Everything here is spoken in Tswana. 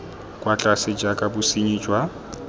kwa tlase jaaka bosenyi jwa